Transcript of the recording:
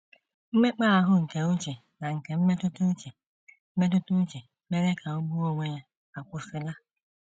Mmekpa ahụ nke uche na nke mmetụta uche mmetụta uche mere ka o gbuo onwe ya akwụsịla.